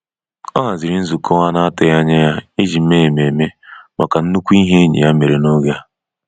Ọ haziri nzukọ anatughi anya ijii mee ememe maka nnukwu ihe enyi ya mere n’oge a.